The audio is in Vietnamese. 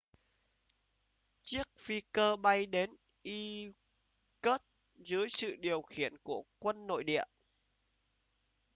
chiếc phi cơ bay đến irkutsk dưới sự điều khiển của quân nội địa